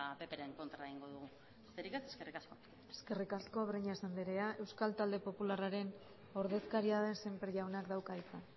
ppren kontra egingo dugu besterik ez eskerrik asko eskerrik asko breñas andrea euskal talde popularraren ordezkaria den sémper jaunak dauka hitza